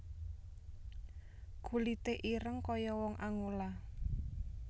Kulite ireng koyo wong Angola